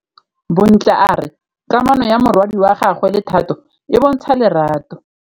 Bontle a re kamanô ya morwadi wa gagwe le Thato e bontsha lerato.